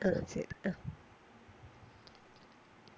ആ ശരി. അഹ്